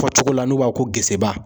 Fɔ cogo la n'u b'a fɔ ko geseba.